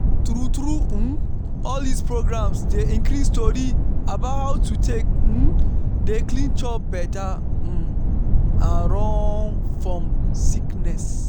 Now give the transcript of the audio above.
true true um all dis programs dey increase tori about how to take um dey clean chop better um and run fom sickness.